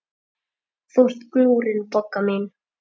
Þú ert glúrin, Bogga mín.